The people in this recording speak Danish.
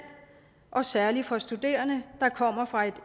og særlig for studerende der kommer fra